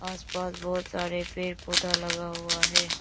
आसपास बहुत सारे पेड़ पौधा लगा हुआ है।